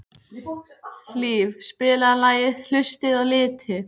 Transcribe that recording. Hlíf, spilaðu lagið „Haustið á liti“.